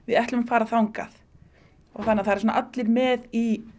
ætlum að fara þangað og það eru allir með í